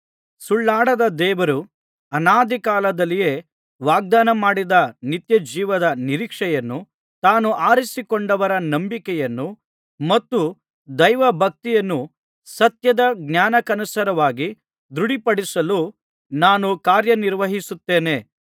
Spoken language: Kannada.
ಸುಳ್ಳಾಡದ ದೇವರು ಅನಾದಿಕಾಲದಲ್ಲಿಯೇ ವಾಗ್ದಾನ ಮಾಡಿದ ನಿತ್ಯಜೀವದ ನಿರೀಕ್ಷೆಯನ್ನು ತಾನು ಆರಿಸಿಕೊಂಡವರ ನಂಬಿಕೆಯನ್ನು ಮತ್ತು ದೈವ ಭಕ್ತಿಯನ್ನು ಸತ್ಯದ ಜ್ಞಾನಕ್ಕನುಸಾರವಾಗಿ ದೃಢಪಡಿಸಲು ನಾನು ಕಾರ್ಯ ನಿರ್ವಹಿಸುತ್ತೇನೆ